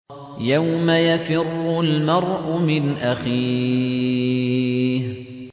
يَوْمَ يَفِرُّ الْمَرْءُ مِنْ أَخِيهِ